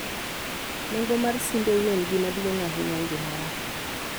Nengo mar simbeu en gima duong' ahinya e ngimawa